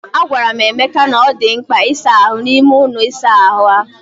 Agwara m Emeka na ọ dị mkpa ịsa ahụ n'ime ụlọ ịsa ahụ.